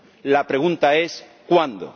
La pregunta es ¿cuándo?